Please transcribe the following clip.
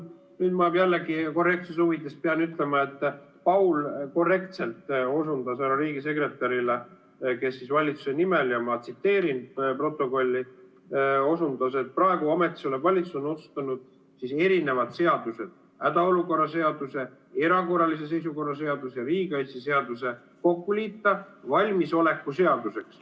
Nüüd ma jällegi korrektsuse huvides pean ütlema, et Paul korrektselt osundas härra riigisekretärile, kes valitsuse nimel – ma tsiteerin protokolli – osundas, et praegu ametis olev valitsus on otsustanud erinevad seadused, hädaolukorra seaduse, erakorralise seisukorra seaduse ja riigikaitseseaduse kokku liita valmisoleku seaduseks.